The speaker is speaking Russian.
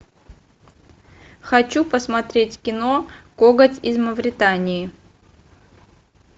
хочу посмотреть кино коготь из мавритании